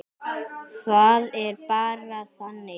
Það er bara þannig.